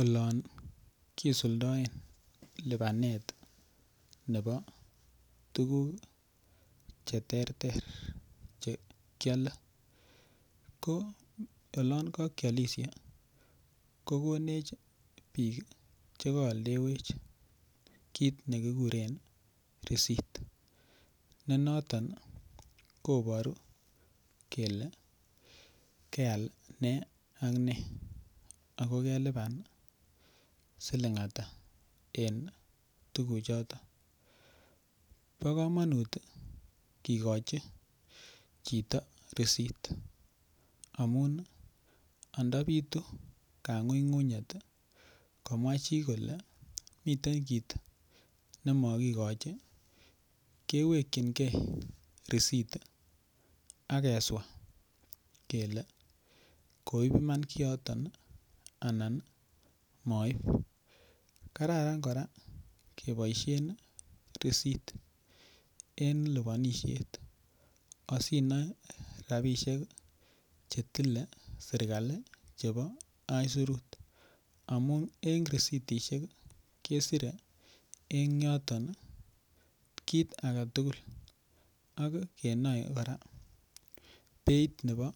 Olon kisuldaen lipanet nebo tukuk cheterter chekile ko olon kakiolishe kokonech biik chekaoldewech kiit nekikuren risit ne noton koboru kele keal ne ak ne akokelipan siling' ata eng' tukuchoton bo kamanut kikochi chito risit amun andabitu kang'ung'unyet komwa chi kole miten kiit nemakikoch kewekchingei risit akeswa kele koib iman kiyoton anan maib kararan kora keboishen risit en lipanishet asinoe rabishek chetile serikali chebo isurut amun en risitishek kesirei eng' yoton kiit age tugul ak keboei kora beit nebo